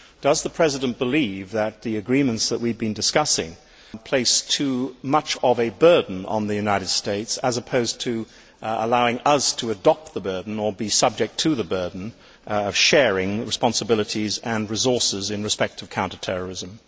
Does the President believe that the agreements which we have been discussing place too much of a burden on the United States as opposed to allowing us to adopt the burden or be subject to the burden of sharing responsibilities and resources in respect of counter terrorism?